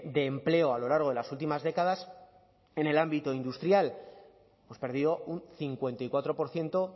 de empleo a lo largo de las últimas décadas en el ámbito industrial hemos perdido un cincuenta y cuatro por ciento